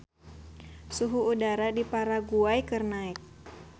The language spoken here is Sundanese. Suhu udara di Paraguay keur naek